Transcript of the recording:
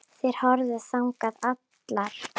Þær horfðu þangað allar.